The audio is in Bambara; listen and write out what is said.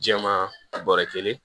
Jɛman bɔrɔ kelen